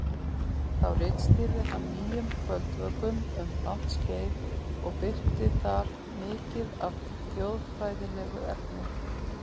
Þá ritstýrði hann Nýjum kvöldvökum um langt skeið og birti þar mikið af þjóðfræðilegu efni.